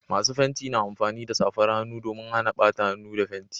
Masu fenti na amfani da safar hannu domin Hana bata hannu da fenti